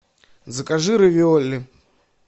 закажи равиоли